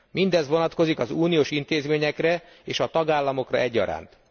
Mindez vonatkozik az uniós intézményekre és a tagállamokra egyaránt.